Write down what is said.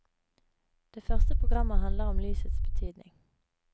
Det første programmet handler om lysets betydning.